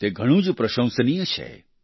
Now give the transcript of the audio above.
તે ઘણું જ પ્રશંસનિય છે